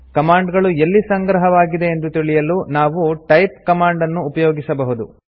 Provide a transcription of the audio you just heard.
command ಗಳು ಎಲ್ಲಿ ಸಂಗ್ರಹವಾಗಿದೆ ಎಂದು ತಿಳಿಯಲು ನಾವು ಟೈಪ್ ಕಮಾಂಡ್ ನ್ನು ಉಪಯೋಗಿಸಬಹುದು